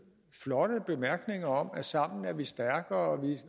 flotte bemærkninger om at sammen er vi stærkere